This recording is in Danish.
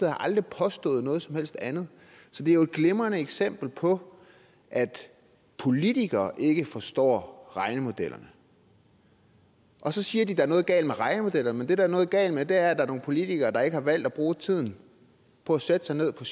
aldrig påstået noget som helst andet så det er jo et glimrende eksempel på at politikere ikke forstår regnemodellerne og så siger de at er noget galt med regnemodellerne men det der er noget galt med der er nogle politikere der ikke har valgt at bruge tiden på at sætte sig ned på